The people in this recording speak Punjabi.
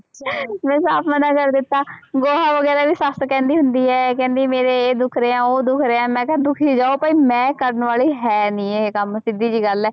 ਮੈਂ ਸਾਫ਼ ਮਨਾ ਕਰ ਦਿੱਤਾ, ਗੋਹਾ ਵਗ਼ੈਰਾ ਵੀ ਸੱਸ ਕਹਿੰਦੀ ਹੁੰਦੀ ਹੈ ਕਹਿੰਦੀ ਮੇਰੇ ਇਹ ਦੁੱਖ ਰਿਹਾ, ਉਹ ਦੁੱਖ ਰਿਹਾ, ਮੈਂ ਕਿਹਾ ਦੁੱਖੀ ਜਾਓ ਭਾਈ ਮੈਂ ਕਰਨ ਵਾਲੀ ਹੈ ਨੀ ਇਹ ਕੰਮ ਸਿੱਧੀ ਜਿਹੀ ਗੱਲ ਹੈ।